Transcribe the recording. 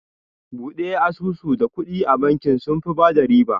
Bude asusu da kuɗi a bakin, sunfi bada riba